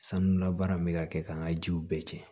Sanu labaara n bɛ ka kɛ k'an ka jiw bɛɛ cɛn